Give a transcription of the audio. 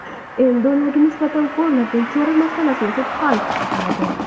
Endi ularga nisbatan ko‘riladigan chora masalasini sud hal qiladi.